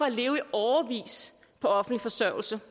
at leve i årevis på offentlig forsørgelse